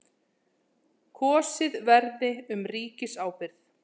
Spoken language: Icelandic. Kosið verði um ríkisábyrgð